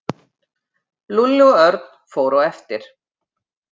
Lúlli og Örn fóru á eftir.